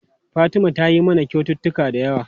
Fatima tayi mana kyaututtuka da yawa.